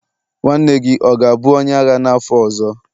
nwanne gị ọ ga-abụ onye agha n'afọ ọzọ?